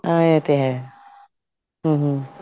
ਹਾਂ ਇਹ ਤੇ ਹੈ ਹਮ ਹਮ